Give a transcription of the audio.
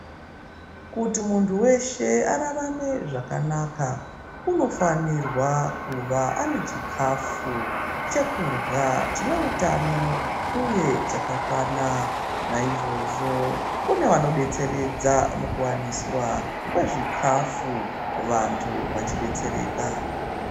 Kuti muntu weshe ararame zvakanaka inofanirwa kuva anechikafu chekurya chine utano uye chakakwana naizvozvo kune vanodetseredza mukuwaniswa kwezvikafu vantu vachidetsereka.